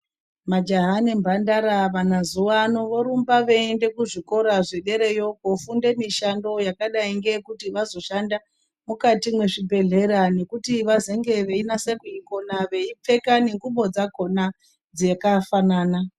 Majaha nemhandara vamazuvano vorumba veienda kuzvikora zvedereyo kofunde mishando yakadai ngeyekuti vazoshanda mukati mwezvibhedhlera nekuti vazenge veinase kuikona, Veipfeka nengubo dzakona dzakafanana.